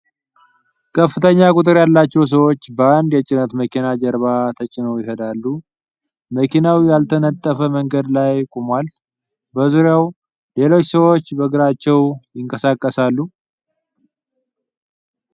ከፍተኛ ቁጥር ያላቸው ሰዎች በአንድ የጭነት መኪና ጀርባ ተጭነዋል ይሄዳሉ። መኪናው ያልተነጠፈ መንገድ ላይ ቆሟል፣ በዙሪያው ሌሎች ሰዎች በእግራቸው ይንቀሳቀሳሉ።